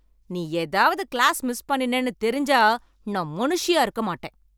நீ ஏதாவது class miss பண்ணினேன்னு தெரிஞ்சா நான் மனுஷியாக இருக்க மாட்டேன்